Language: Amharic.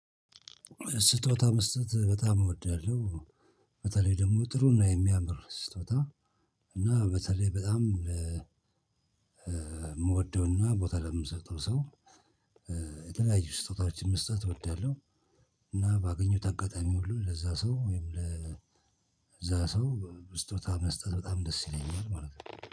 ስጦታ መስጠት በጣም እወዳለሁ። በተለይ ደግሞ ጥሩ እና የሚያምር ስጦታ እና በተለይ በጣም የምወደውና ቦታ ለምሰጠው ሰው። የተለያዩ ስጦታዎችን መስጠት እወዳለሁ። እና ባገኘሁት አጋጣሚ ሁሉ ለዛ ሰው ወይም ለዛ ሰው ስጦታ መስጠት በጣም ደስ ይለኛል ማለት ነው